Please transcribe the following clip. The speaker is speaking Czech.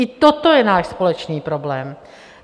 I toto je náš společný problém.